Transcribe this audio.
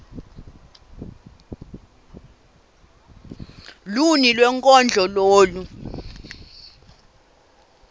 luni lwenkondlo lolu